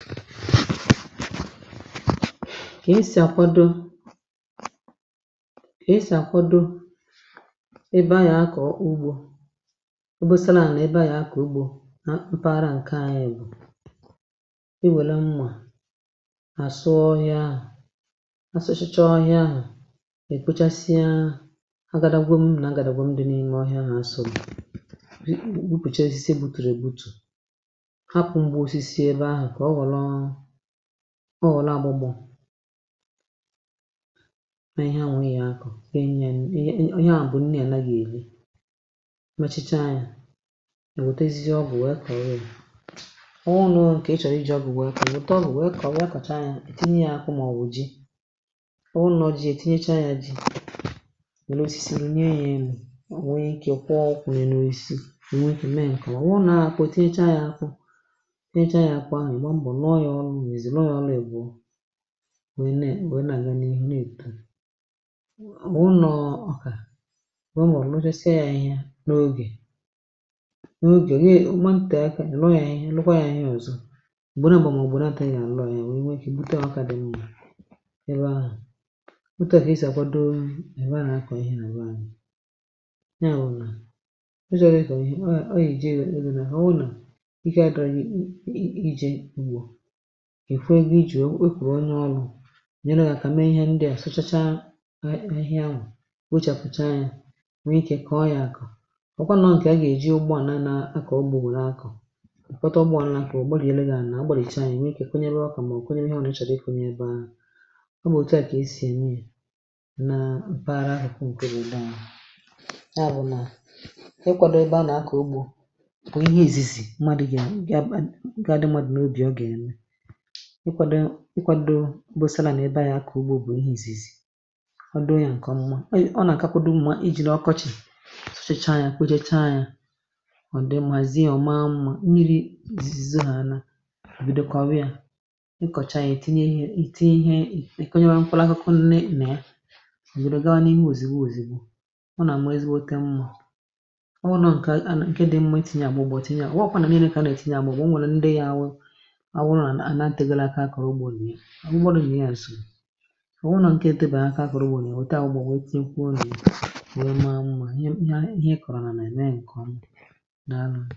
Ka-esi àkwado, ka-esi àkwado ebe a eh ya kọ̀ ọ̀ ugbȯ, ọ bụsala nà ebe a um ya kò ugbȯ mpaghara ǹke anyị̇ bụ̀ iwèle mmà àsụ ọhịa, asụchachọ ọhịa ahụ̀ ah e kpochasịa agadagwe, m̀nà agàdàgbè m dị n’ime ọhịa nà asọgbì, rịkpụ̀kpùchasịsị butùrù èbutù, ọ nọ̀la agbụgbọ̀ eh nà ihe a nwẹ̀ ya kà ihe nye… ihe a bụ̀ nni ànaghị̀ èle machicha yȧ, ò wètezizi ọ bụ̀ nwẹ kọ̀rọ ị bụ̀ ọ nọọ ǹkẹ̀ ichọrọ iji̇ ọ gụ̀, nwẹ̀ ike wète, ọ bụ̀ nwẹ kọ̀rọ̀ ị kàchaa yȧ um ò tinye yȧ akụ màọbụ̀ ji, ọ ụnọ̇ ji è tinyecha yȧ ji̇ wẹ̀losisì, rùnye yȧ emù, nwẹ ike kwọọ ọkwụ̀ nà ẹnẹosisi, ò nwẹtụ mẹ ǹkọ̀wa wụrụ nà akụ̇ ah tinyecha yȧ akụ, nwee na-aga n’ihu nà èkpùrù ụnọ̀. Ọkà ụmụ̀ ọ nọ̀chasị ya ihe n’ogè n’ogè, ihe ụmụ̀ nà ntèe aka nà-ènọ ya, ihe nnukwa ya ọzọ, m̀gbè nà bụ̀, màọ̀bụ̀ nà atọ, ị gà-ànọ ya nwee kà ènute ọwakȧ dị mma ebe ahụ̀. Òtù ahụ̀ ị sì agwọdọ ebe ahụ̀ nà-àkọ ihe nà ùle eh, ànà ọ yà ụnọ̀nà ọ yàjọọ eke, a dịrị ị um jẹ̀rẹ̀, ị gà na-àkọ ihe ndị ọ̀zọ, è kwe wụ iji̇ wẹ̀ kwụrụ onye ọlụ̇ nyèrụ gị̇ àkà mee ihe ndị à. Sụchacha ahịhịa, nwochàpụ̀cha ya, nwẹ ikė kọ̀ọ ya àkà ọ kwànụ̀ nkè a gà-èji ugbua, na-anȧ akà ogbu̇, bụrụ akà ǹkwẹtẹ, ugbȯ àlà kà ọ gbàlìio, gà-ànà a gbàlìchà ya, nwẹ ikė kwenyere ọkà, mà o kwenye ihe ọ nà-echọdụ iku nyebẹ ahụ̀. Ọ bụ̀ òtu à ah kà esì ème yȧ nà mpaghara ahụ̀, kụrụ ịbȧà, mà bụ̀ nà ị kwȧdụ ịbȧà nà akà ugbȯ, bụ̀ ihe èzizi madu gị à ǹga àdị, madu n’obi, ọ gà-ẹmẹ ịkwado, ịkwado bosa, na-èdo ya eh kà ugbo, bụ̀ ihe ìzìzì, ọ doo ya ǹkè ọmụma, ọ nà-àkakwado mma iji̇là ọkọchị̀. Sụchacha ya, kpechecha ya, ọ dị mhàzie ọ̀ma, mmȧ nri zizi ha, anȧ òbòdò, kwawe ya, ịkọ̀cha ya, ètinye ihe, ìtinye ihe, ịkọ̇nye bụ̀ mkpalakuku, nne nà ya òbòdò, gawa n’ime òzìgbo òzìgbo. Ọ nà m ezigbo oke mmȧ, ọ wụ nà ǹkè a, nà ǹkè dị mmȧ, e tìnye à, bụ̀ bụ̀ òtinye à, wọ̀kwa nà nye nė, kà a nà-ètinye à, bụ̀ bụ̀… o nwèrè ndị ya awụ àhụ, bụrụ̀ nà ihe à sì ọ̀ wụ, nà ǹkè etėbè aka, kà ụbọ̀nyè òtù à gbà, o tèkwùo n’imė àhụ m, ahụ̀ ihe à, ihe e kọ̀rọ̀ nà nà, ẹ̀ nà ẹ̀ nọ̀, m naanọ̇.